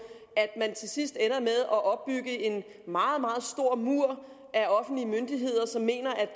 til sidst ender med at opbygge en meget meget stor mur af offentlige myndigheder som mener at